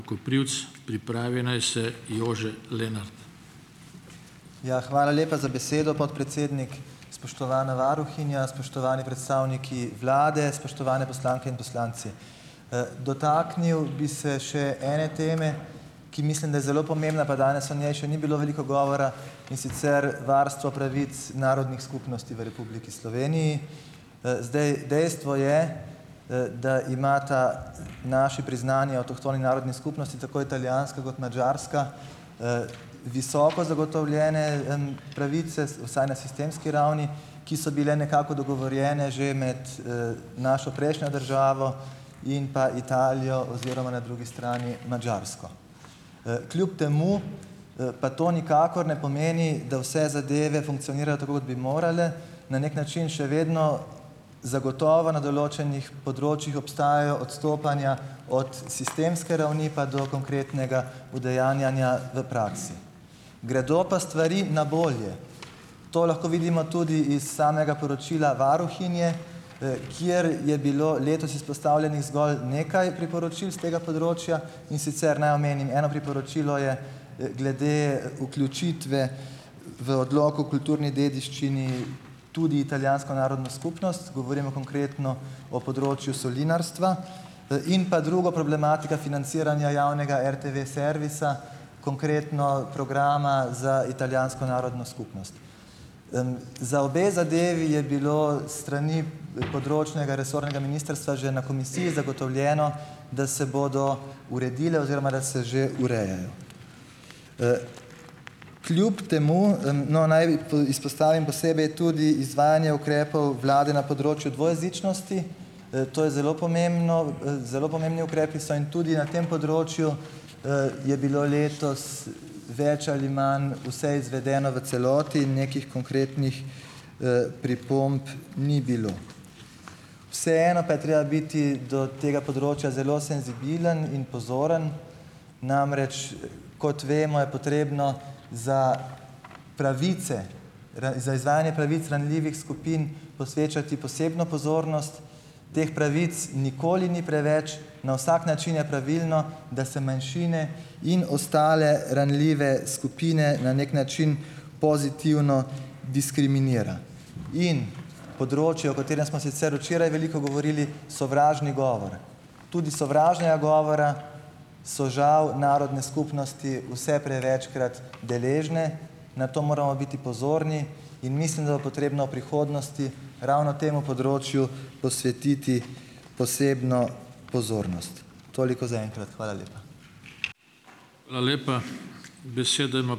Ja, hvala lepa za besedo, podpredsednik. Spoštovana varuhinja, spoštovani predstavniki vlade, spoštovane poslanke in poslanci! Dotaknil bi se še ene teme, ki mislim, da je zelo pomembna, pa danes o njej še ni bilo veliko govora, in sicer varstvo pravic narodnih skupnosti v Republiki Sloveniji. Zdaj, dejstvo je, da imata naši priznani avtohtoni narodni skupnosti, tako italijanska kot madžarska, visoko zagotovljene, pravice, vsaj na sistemski ravni, ki so bile nekako dogovorjene že med, našo prejšnjo državo in pa Italijo oziroma na drugi strani Madžarsko. Kljub temu, pa to nikakor ne pomeni, da vse zadeve funkcionirajo tako, kot bi morale. Na neki način še vedno zagotovo na določenih področjih obstajajo odstopanja od sistemske ravni pa do konkretnega udejanjanja v praksi. Gredo pa stvari na bolje. To lahko vidimo tudi iz samega poročila varuhinje, kjer je bilo letos izpostavljenih zgolj nekaj priporočil s tega področja. In sicer naj omenim eno priporočilo je, glede vključitve v odlok o kulturni dediščini tudi italijansko narodno skupnost. Govorimo konkretno o področju solinarstva. In pa drugo - problematika financiranja javnega RTV-servisa, konkretno programa za italijansko narodno skupnost. Za obe zadevi je bilo strani, področnega resornega ministrstva že na komisiji zagotovljeno, da se bodo uredile oziroma da se že urejajo. Kljub temu, - no, naj izpostavim posebej tudi izvajanje ukrepov vlade na področju dvojezičnosti. To je zelo pomembno, zelo pomembni ukrepi so in tudi na tem področju, je bilo letos več ali manj vse izvedeno v celoti, nekih konkretnih, pripomb ni bilo. Vseeno pa je treba biti do tega področja zelo senzibilen in pozoren, namreč kot vemo, je potrebno za pravice, za izvajanje pravic ranljivih skupin posvečati posebno pozornost. Teh pravic nikoli ni preveč. Na vsak način je pravilno, da se manjšine in ostale ranljive skupine na neki način pozitivno diskriminira. In področje, o katerem smo sicer včeraj veliko govorili, sovražni govor. Tudi sovražnega govora so, žal, narodne skupnosti vse prevečkrat deležne. Na to moramo biti pozorni in mislim, da bo potrebno v prihodnosti ravno temu področju posvetiti posebno pozornost. Toliko zaenkrat. Hvala lepa.